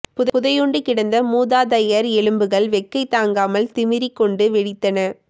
புதையுண்டு கிடந்த மூதாதையர் எலும்புகள் வெக்கை தாங்காமல் திமிறிக் கொண்டு வெடித்தன